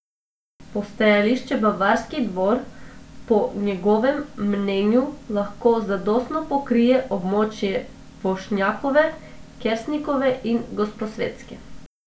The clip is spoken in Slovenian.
Postajališče Bavarski dvor po njegovem mnenju lahko zadostno pokrije območje Vošnjakove, Kersnikove in Gosposvetske.